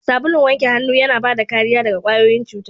Sabulun wanke hana yana bada kariya daga kwayoyin cuta.